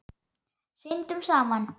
Syndum saman.